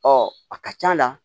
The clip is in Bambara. Ɔ a ka c'a la